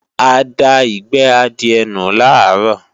A da ìgbẹ́ adìẹ nù làárọ̀